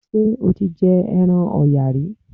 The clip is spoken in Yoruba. Ṣé o ti jẹ ẹran Ọ̀yà rí?